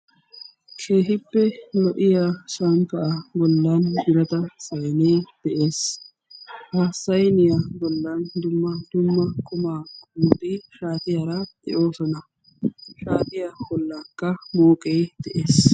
kehippe lo'iya shanttaaa gollan girata sainee de'ees. ha sayniyaa bollan dumma dumma qumaa qomoti shaatiyaara de'oosona. shaatiya bollikka mooqee de7ees